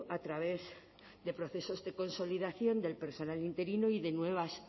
a través de procesos de consolidación del personal interino y de nuevas